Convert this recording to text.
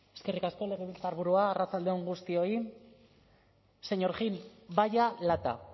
eskerrik asko legebiltzarburua arratsalde on guztioi señor gil vaya lata